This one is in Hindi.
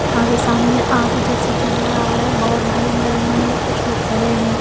यहां पे सामने आग जैसे जल रहा है बहोत भीड़ लगी हुई है कुछ लोग खड़े है।